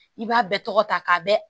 I b'a bɛɛ tɔgɔ ta k'a bɛɛ